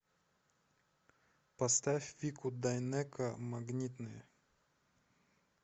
поставь вику дайнеко магнитные